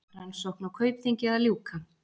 Rannsókn á Kaupþingi að ljúka